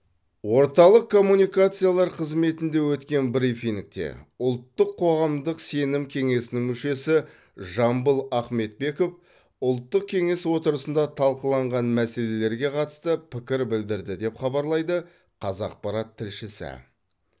орталық коммуникациялар қызметінде өткен брифингте ұлттық қоғамдық сенім кеңесінің мүшесі жамбыл ахметбеков ұлттық кеңес отырысында талқыланған мәселелерге қатысты пікір білдірді деп хабарлайды қазақпарат тілшісі